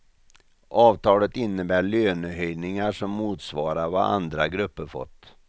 Avtalet innebär lönehöjningar som motsvarar vad andra grupper fått.